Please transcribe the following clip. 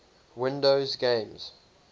windows games